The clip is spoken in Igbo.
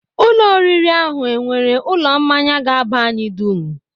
Ụlọ oriri ahụ e nwere ụlọ mmanya ga-aba anyị dum?